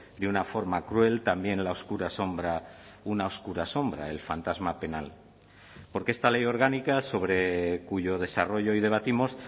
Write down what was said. de una forma cruel también la oscura sombra una oscura asombra el fantasma penal porque esta ley orgánica sobre cuyo desarrollo hoy debatimos